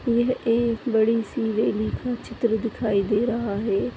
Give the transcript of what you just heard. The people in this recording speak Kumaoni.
यह एक बड़ी सी रैली का चित्र दिखाई दे रहा है।